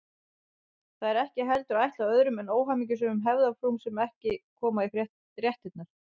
Það er ekki heldur ætlað öðrum en óhamingjusömum hefðarfrúm sem ekki koma í réttirnar.